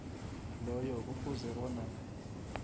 loyo kufuze bona